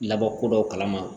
Labɔ kodɔn kalama